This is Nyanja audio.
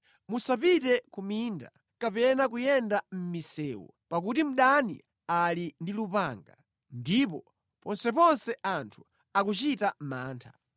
Musapite ku minda kapena kuyenda mʼmisewu, pakuti mdani ali ndi lupanga, ndipo ponseponse anthu akuchita mantha.